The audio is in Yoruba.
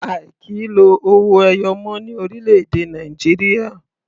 A ò kì í lo owó ẹyọ mọ́ ní orílẹ̀-èdè Nàìjíríà.